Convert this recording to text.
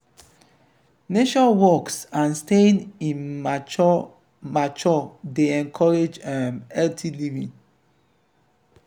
nature walks and staying in mature mature dey encourage um healthy living